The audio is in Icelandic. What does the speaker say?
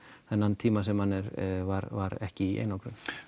þennan tíma sem hann er var var ekki í einangrun